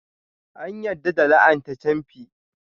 An yarda da la'ana ta camfi.